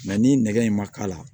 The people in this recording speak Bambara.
ni nɛgɛ in ma k'a la